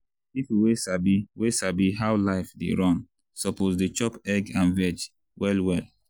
people wey sabi wey sabi how life dey run suppose dey chop egg and veg well well.